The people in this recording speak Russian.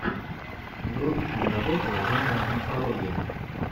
вруби киноработу жанра мифология